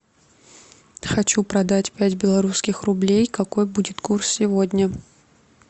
хочу продать пять белорусских рублей какой будет курс сегодня